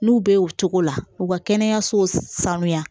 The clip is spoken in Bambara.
N'u bɛ o cogo la u ka kɛnɛyasow sanuya